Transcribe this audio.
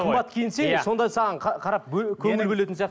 қымбат киінсең сонда саған қарап көңіл бөлетін сияқты